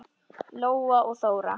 Lóa og Þóra.